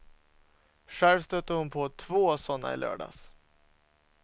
Själv stötte hon på två sådana i lördags.